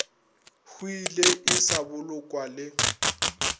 hwile e sa bolokwa le